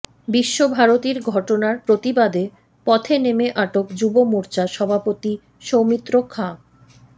বিশ্বভারতীর ঘটনার প্রতিবাদে পথে নেমে আটক যুব মোর্চা সভাপতি সৌমিত্র খাঁ